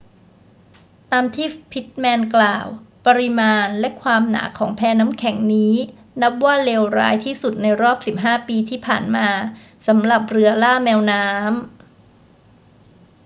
ตามที่พิตต์แมนกล่าว ปริมาณและความหนาของแพน้ำแข็งนี้นับว่าเลวร้ายที่สุดในรอบ 15 ปีที่ผ่านมาสำหรับเรือล่าแมวน้ำ